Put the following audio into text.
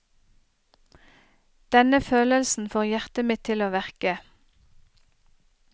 Denne følelsen får hjertet mitt til å verke.